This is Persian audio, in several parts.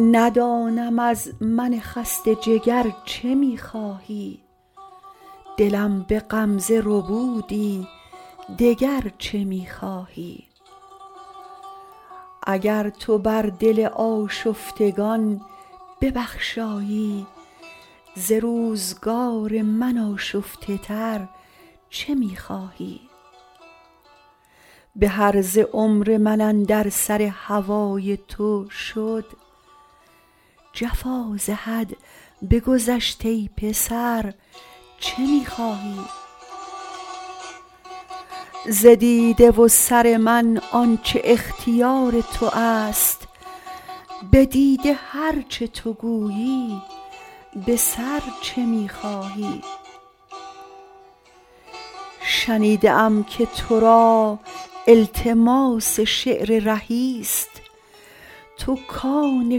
ندانم از من خسته جگر چه می خواهی دلم به غمزه ربودی دگر چه می خواهی اگر تو بر دل آشفتگان ببخشایی ز روزگار من آشفته تر چه می خواهی به هرزه عمر من اندر سر هوای تو شد جفا ز حد بگذشت ای پسر چه می خواهی ز دیده و سر من آن چه اختیار تو است به دیده هر چه تو گویی به سر چه می خواهی شنیده ام که تو را التماس شعر رهی ست تو کآن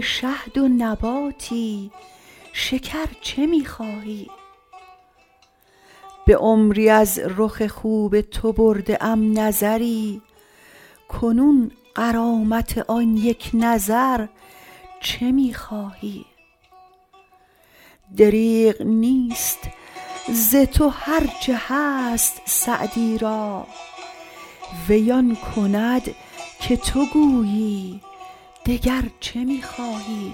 شهد و نباتی شکر چه می خواهی به عمری از رخ خوب تو برده ام نظری کنون غرامت آن یک نظر چه می خواهی دریغ نیست ز تو هر چه هست سعدی را وی آن کند که تو گویی دگر چه می خواهی